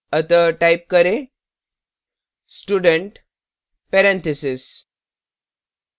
अतः type करें student parentheses